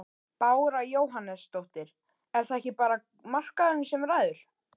Bára Jóhannesdóttir: Er það ekki bara markaðurinn sem ræður?